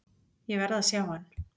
Ég verð að sjá hann